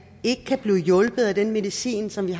ikke kan blive hjulpet af den medicin som vi